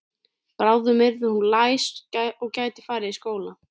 Bráðum yrði hún læs og gæti farið í skóla.